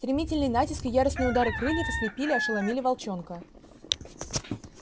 стремительный натиск и яростные удары крыльев ослепили ошеломили волчонка